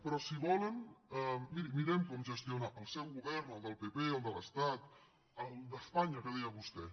però si volen miri mirem com gestionar el seu govern el del pp el de l’estat el d’espanya que deia vostè